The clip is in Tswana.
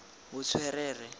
botswerere